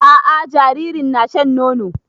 A'a jaririn na shan nono